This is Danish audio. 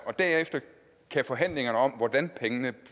og derefter kan forhandlingerne om hvordan pengene